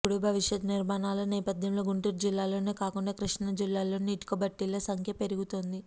ఇప్పుడు భవిష్యత్తు నిర్మాణాల నేపథ్యంలో గుంటూరు జిల్లాలోనే కాకుండా కృష్ణా జిల్లాలోనూ ఇటుక బట్టీల సంఖ్య పెరుగుతోంది